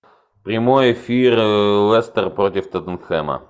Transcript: прямой эфир лестер против тоттенхэма